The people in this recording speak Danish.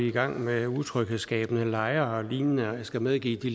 i gang med utryghedsskabende lejre og lignende jeg skal medgive at de